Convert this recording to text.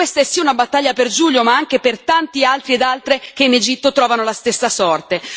E questa è sì una battaglia per Giulio ma anche per tanti altri ed altre che in Egitto trovano la stessa sorte.